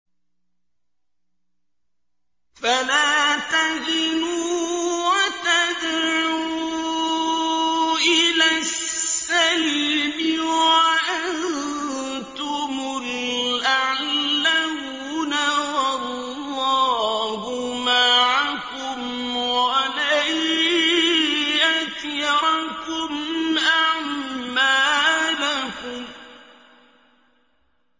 فَلَا تَهِنُوا وَتَدْعُوا إِلَى السَّلْمِ وَأَنتُمُ الْأَعْلَوْنَ وَاللَّهُ مَعَكُمْ وَلَن يَتِرَكُمْ أَعْمَالَكُمْ